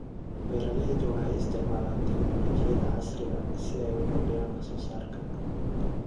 Beeraleydu waxay isticmaalaan tignoolajiyada casriga ah si ay u kordhiyaan wax soo saarka.